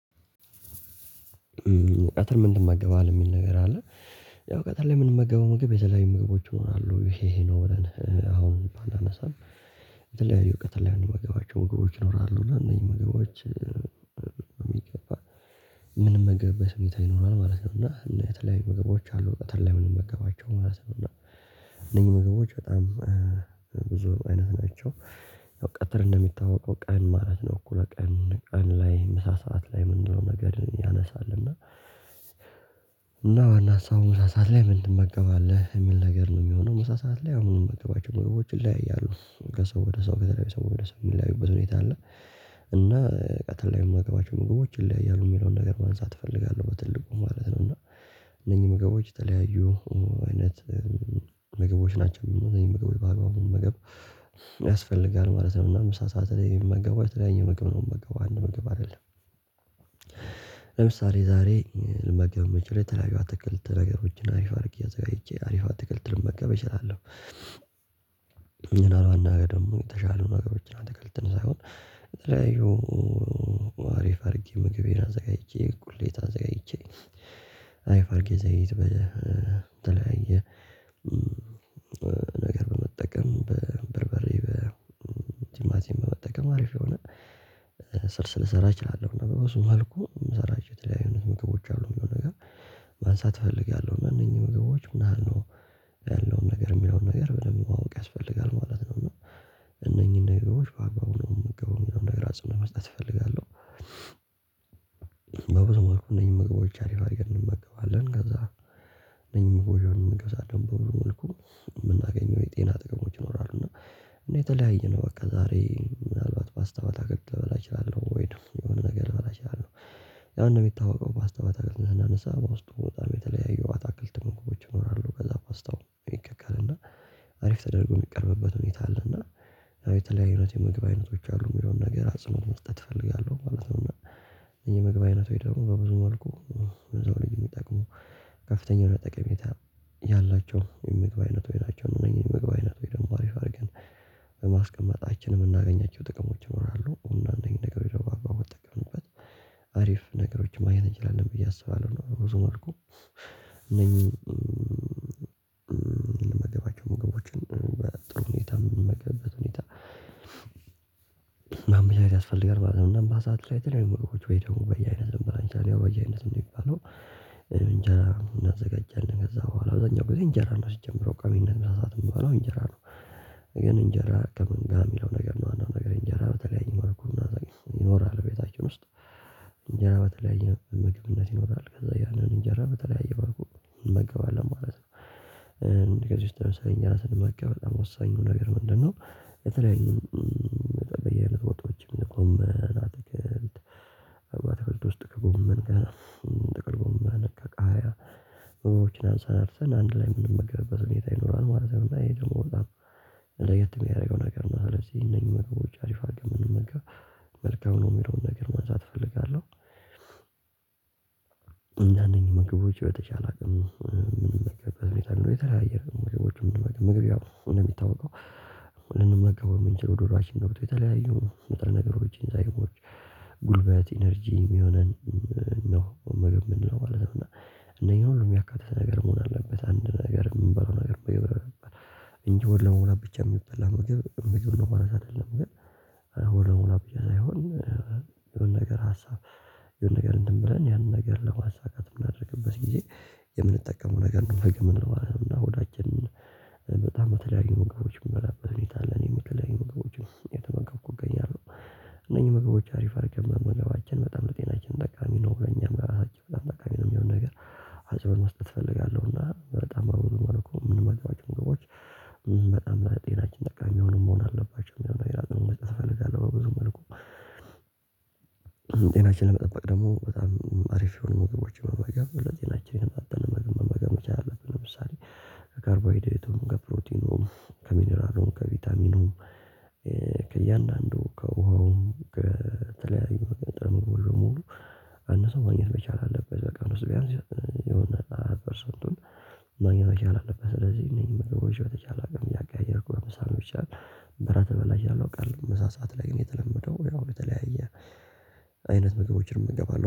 ቀጥር ምን ይመገባል የሚል ነገር አለ። ያው ቀጥር ላይ የምንመገበው ምግብ የተለያዩ ምግቦች ይሆናሉ ይሄ ይሄ ነው ብለን አሁን ባንነሳም። የተለያዪ ቀጥር ላይ ምንመገባቸው ምግቦች ይኖራሉ እና እነዚህ ምግቦች የሚገባ ምንም መገብ በስሜታ ይኖራል ማለት ነው። እና እና የተለያዬ ምግቦች አሉ ምግቦች ማለት ነው። እና እነዚህ ምግቦች በጣም ብዙ አይነት ናቸው። ያው ቀትር እንደሚታወቀው ቀን ማለት ነው እኮ ለቀን ቀን ላይ ምሳ ሰዓት ላይ ምንድነው ነገር ያነሳል? እና ዋና ሀሳቡን ምሳ ሰዓት ላይ ምን ትመገባለህ ምን ነገር ነው የሚሆነው? ምሳ ሰዓት ላይ አሁንም ምግቦች ይለያያሉ ከሰው ወደ ሰው ከተለያዩ ሰው ወደ ሰው የሚለያዩበት ሁኔታ አለ። እና ቀጥል ላይ የማገባቸው ምግቦች ይለያያሉ የሚለውን ነገር ማንሳት እፈልጋለሁ በትልቁ ማለት ነው። እና እነኚህ ምግቦች የተለያዩ አይነት ምግቦች ናቸው እነኚህ ምግቦች በአግባቡ መመገብ ያስፈልጋል ማለት ነው። እና መሳ ስዓት ይሄን የተለያየ መገባት ነው መገባት አንድ ምግብ አይደለም። ለምሳሌ ዛሬ ልመገብ ምችለው ላይ ተለያዩ አትክልት ነገሮችን አሪፍ አድርግ አዘጋጅቼ አሪፍ አትክልትልም በቃ እችላለሁ። እኔን አላውቅም ተሻለ ነገሮችን አትከልትም ሳይሆን። አሪፍ አድርጌ ምግቤን አዘጋጅቼ እኩሌት አዘጋጅቼ አይፋርጌ ዘይት በተለያየ ነገር በመጠቀም በበርበሬ በጅማሴ በመጠቀም አሪፍ የሆነ ስልስ ስለሰራ እችላለሁ ነበር። በሱ መልኩ የምሰራቸው የተለያዩ አይነት ምግቦች አሉ የሆነ ነገር። ማንሳት እፈልጋለሁ እነኚህ ምግቦች ምናምን ነው ያለውን ነገር የሚለውን ነገር ብለህ ማወቅ ያስፈልጋል ማለት ነው። እና እነኚህን ነገሮች በአግባቡ ነው የምገባው የሚለውን ነገር አጽንነት መስጠት እፈልጋለሁ። መልኩ እነዚህን መግቦች አሪፍ አድርገ እንመገባለን ከዛ እነዚህን ምግቦች በመመገብ በብዙ መልኩ የምናገኘው የጤና ጥቅሞች ይኖራሉ። እና እኔ የተለያየ ነው በቃ። ፓስታ በአትክልት ልበላ እችላለሁ ወይ የሆነ ነገር ልበላ እችላለሁ። ያው እንደሚታወቀው ፓስታ ስናነሳ በውስጡ በጣም የተለያየው አትክልት መንገዶች ይኖራሉ በዛ ፖስታው ይቀቀልና አሪፍ ተደርጎ የሚቀርብበት ሁኔታ። እና የተለያዩ ህይወት የምግብ አይነቶች አሉ የሆነ ነገር አጽንኦት መስጠት እፈልጋለሁ ማለት ነው። እና የመግባት አይነት ደግሞ በብዙ መልኩ እዛው ልጅ የሚጠቅመው ከፍተኛ ለጠቅሜታ ያላቸው የምግብ አይነት ሆይ ናቸው። እነዚህን የምግብ አይነት ሆይ ደግሞ አሪፍ አድርገን በማስቀመጣችን የምናገኛቸው ጥቅሞች ይኖራለሁ። እና አንደኛ ነገር የሆነው አባባው ተገንበት አሪፍ ነገሮችን ማየት እንችላለን ብዬ አስባለሁ። ብዙ መልኩ እነዚህ ምን ልመገባቸው መገቦችን ጥሩ ሁኔታ ምንመገበብ ትሁኔታ። ማመቻቸት ያስፈልጋል ማለት ነው። እናም የተለያ ምግቦች ወይ ደግሞ በየአይነት ልንበላ እችላለን ያው በየአይነት የሚባለው እንጀራ እናዘጋጃለን ከዛ በኋላ በዛኛው ጊዜ እንጀራ ነው ሲጀመረው ቋሚነት በብዛት የምትባለው እንጀራ ነው። ግን እንጀራ ከምንገባ የሚለው ነገር ነው አንዱ ነገር እንጀራ በተለያየ መልኩ ይኖራል። ቤታችን ውስጥ እንጀራ በተለያየ ምግብነት ይኖራል። ከዛ ያንን እንጀራ በተለያየ መልኩ እንመገባለን ማለት ነው። ከዚህ በምሳሌ ስንመገብ በጣም ወሳኙ ነገር ምንድነው? የተለየ በየአይነት ወጥቶችም ገመን፤ አትክልት አትክልት ውስጥ ከጎመን ጋር ጥቅልጎመን ቃሪያ አንድ ላይ ስራርተንአንድላይ ምንመገብበት ሁኔታ ማለት ነው። እና ይሄ ደግሞ በጣም ለየት የሚያደርገው ነገር ነው። አለች እነኚህ መገቦች አሪፍ አርግ የምንመገበው መልካም ነው የሚለውን ነገር ማንሳት እፈልጋለሁ። አንዳንድ ምግቦች በተቻለ አቅም የተለያየ ምግ እደሚታወቀው ልንመጋው የምንችለው ዶላር እሺ ገብቶ መጠን ነገሮችን ሳይሆን ጉልበት ኢነርጂ የሚሆነን ነው ምግብ የምንለው ማለት ነው። እነኚህ ሁሉ የሚያካትተን ነገር መሆን አለበት አንድ ነገር የምንበለው ነገር። እንጂ ወደ ለመሆን ብቻ የሚበላ መገብ እንግዲህ ወደ ለመሙላት ምግብ ነው ማለት አይደለም ግን። ሆድ ለመሙላት ብቻ ሳይሆን የሆነ ነገር ሀሳብ የሆነ ነገር እንድምንምብለን ያንን ነገር ለማሳካት የምናደርግበት ጊዜ የምንጠቀመው ነገር ነው። ምግብ የምንለው እና ሆዳችን በጣም የተለያዩ ምግቦች ምንበላበት ሁኔታ አለ። ምግቦችን እኔም የተለያዪ እገኛለሁ። እነኚህ ምግቦች አሪፍ አድርገን መመገባችን በጣም ልጤናችን ጠቃሚ ነው ብለን እኛም ራሳችን በጣም ጠቃሚ ነው የሚሆነው ነገር። አጭር መስጠት እፈልጋለሁ። እና በጣም ምንገባቸው ምግቦች በጣም ላይ ጤናችን ጠቃሚ አሁንም መሆን አለባቸው የመጀመሪያው መልእክት እፈልጋለሁ። በብዙ መልኩ ጤናችንን መጠበቅ ደግሞ በጣም አሪፍ የሆኑ መገበያዎችን ለጤናች የተመጣጠነ ምግብ መመገብ አለብን። ለምሳሌ ከካርቦይድሬት፤ ከፕሮቲኑም ከሚነራሉም ከቫይታሚኑም ከእያንዳንዱ ከውሃውም ከተለያዩ በጣም ወይ ሙሉ አንድ ሰው ማግኘት መቻል አለበት። በቃ ውስጥ ቢያንስ የሆነ ፐርሰንቱን ማግኘት አለበት። ስለዚህ እኔ ምግቦች ተቻላሚ እያቀያየርኩ በምሳ ነው የሚቻል። በራ ተበላሽ አላውቅም ምሳ ሰዓት ላይ ግን የተለመደው ያው በተለያየ አይነት ምግቦችን እገባለሁ